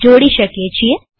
ને જોડી શકીએ છીએ